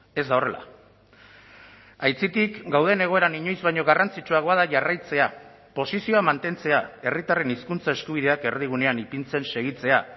ez da horrela aitzitik gauden egoeran inoiz baino garrantzitsuagoa da jarraitzea posizioa mantentzea herritarren hizkuntza eskubideak erdigunean ipintzen segitzea